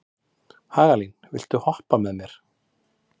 Hagalín, viltu hoppa með mér?